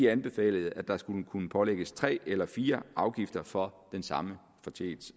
anbefalede at der skulle kunne pålægges tre eller fire afgifter for den samme